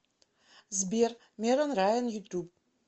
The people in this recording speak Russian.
сбер мерон райан ютуб